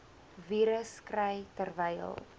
virus kry terwyl